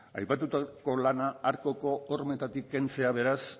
aipatutako lana arcoko hormetatik kentzea beraz